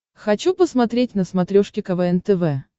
хочу посмотреть на смотрешке квн тв